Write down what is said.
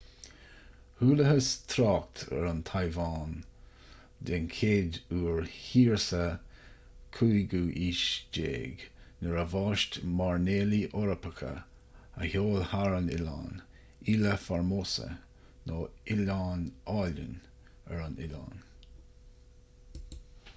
chualathas trácht ar an téaváin den chéad uair thiar sa 15ú haois nuair a bhaist mairnéalaigh eorpacha a sheol thar an oileán ilha formosa nó oileán álainn ar an oileán